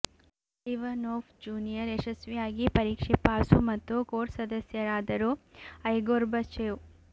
ಲಿವನೋಫ್ junior ಯಶಸ್ವಿಯಾಗಿ ಪರೀಕ್ಷೆ pass ಮತ್ತು ಕೋರ್ಸ್ ಸದಸ್ಯರಾದರು ಐ ಗೋರ್ಬಚೇವ್